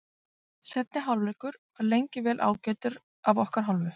Seinni hálfleikur var lengi vel ágætur af okkar hálfu.